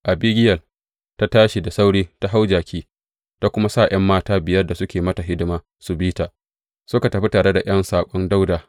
Abigiyel ta tashi da sauri ta hau jaki, ta kuma sa ’yan mata biyar da suke mata hidima su bi ta, suka tafi tare da ’yan saƙon Dawuda.